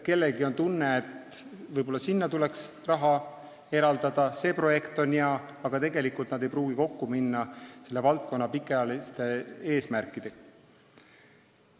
Kellelgi on tunne, et võib-olla tuleks raha eraldada, projekt on hea, aga tegelikult ei pruugi see kokku minna selle valdkonna pikaajaliste eesmärkidega.